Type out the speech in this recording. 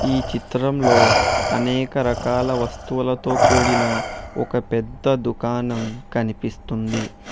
ఈ చిత్రంలో అనేక రకాల వస్తువులతో కూడిన ఒక పెద్ద దుకాణం కనిపిస్తుంది.